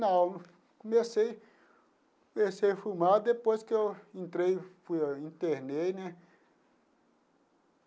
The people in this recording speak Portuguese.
Não, comecei comecei a fumar depois que eu entrei, fui internei, né?